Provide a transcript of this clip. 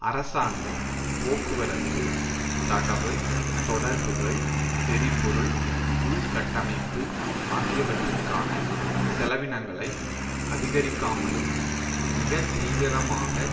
அரசாங்கம் போக்குவரத்து தகவல் தொடர்புகள் எரிபொருள் உள்கட்டமைப்பு ஆகியவற்றிற்கான செலவினங்களை அதிகரிக்காமலும் மிக தீவிரமாக